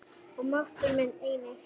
Og máttur minn einnig.